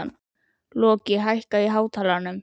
Loki, lækkaðu í hátalaranum.